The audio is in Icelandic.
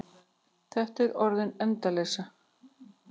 Þetta var orðin endaleysa.